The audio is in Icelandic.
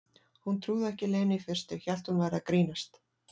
Hún trúði ekki Lenu í fyrstu, hélt hún væri að grínast.